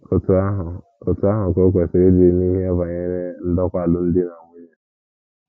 Otú ahụ Otú ahụ ka o kwesịrị ịdị n’ihe banyere ndokwa alụmdi na nwunye.